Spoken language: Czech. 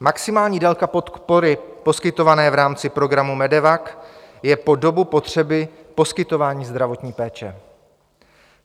Maximální délka podpory poskytované v rámci programu MEDEVAC je po dobu potřeby poskytování zdravotní péče.